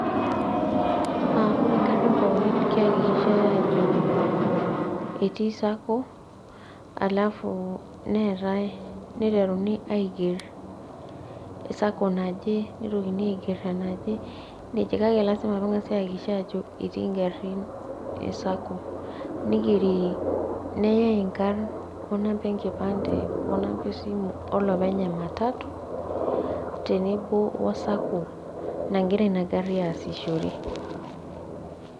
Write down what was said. Ore garrin pookin keakikishai ajo etii Sacco, halafu neetae niteruni aiger Sacco naje, nitokini aiger enaje, nejia kake lasima peng'asai aakikisha ajo etii garrin Sacco. Nigeri neyai inkarn onamba enkipande, onamba esimu olopeny ematatu, tenebo o Sacco nagira ina garri aasishore.